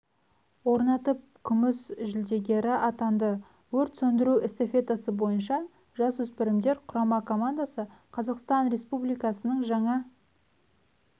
орнатып күміс жүлдегері атанды өрт сөндіру эстафетасы бойынша жас өспірімдер құрама командасы қазақстан республикасының жаңа